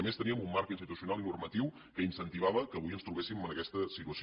a més teníem un marc institucional i normatiu que incentivava que avui ens trobéssim en aquesta situació